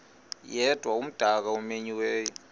yedwa umdaka omenyiweyo